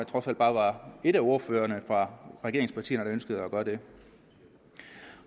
trods alt bare var en af ordførerne for regeringspartierne der ønskede at gøre det